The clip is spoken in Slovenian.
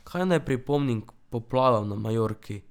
Kaj naj pripomnim k poplavam na Majorki?